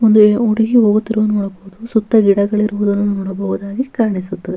ನಮ್ಮನೆ ಸುತ್ತ ಮುತ್ತ ಕಾಡು ಗದ್ದೆ ತೋಟ ಇದೆ ಅಲ್ಲೊಂದು ಐವತ್ ಅರವತ್ ನವಿಲುಗಳ್ ಓಡಾಡ್ ತಾ ಇರ್ತವೆ ಸಿಕ್ಕಾಪಟ್ಟೆ ಚೆನಾಗಿರುತ್ತೆ ನೋಡ್ಲಿಕ್ಕೆ --